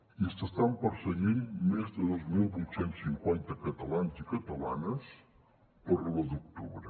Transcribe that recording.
i s’estan perseguint més de dos mil vuit cents i cinquanta catalans i catalanes per l’u d’octubre